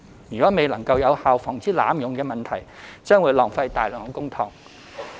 如未能有效防止濫用問題，將會浪費大量公帑。